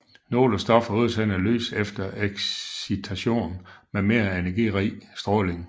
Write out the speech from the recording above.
Nogle stoffer udsender lys efter excitation med mere energirig stråling